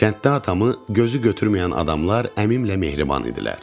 Kənddə atamı gözü götürməyən adamlar əmimlə mehriban idilər.